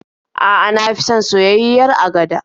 A'a, na fi son soyayyiyar agada.